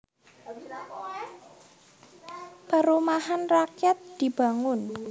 Perumahan rakyat dibangun